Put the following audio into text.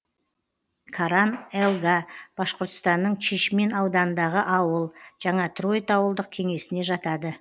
каран елга башқұртстанның чишмин ауданындағы ауыл жаңа троит ауылдық кеңесіне жатады